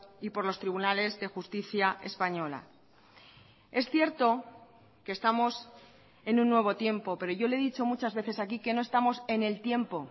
y por los tribunales de justicia española es cierto que estamos en un nuevo tiempo pero yo le he dicho muchas veces aquí que no estamos en el tiempo